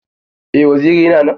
Eh waziri yana nan.